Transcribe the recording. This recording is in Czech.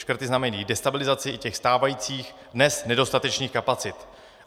Škrty znamenají destabilizaci i těch stávajících, dnes nedostatečných kapacit.